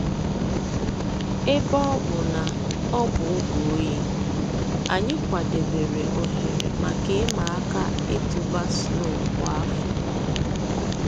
Èbè ọ̀ bụ̀ nà ọ̀ bụ̀ ògè òyì, ànyị̀ kwàdèbèrè òhèrè mǎká ị̀mà àkà ị̀tụ̀bà snow kwa áfọ̀.